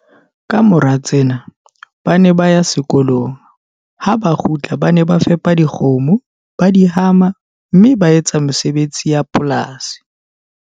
Ka mora tsena, ba ne ba ya sekolong, ha ba kgutla ba ne ba fepa dikgomo, ba di hama, mme ba etsa mesebetsi ya polasi.